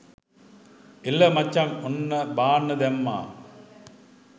එල මචං ඔන්න බාන්න දැම්මා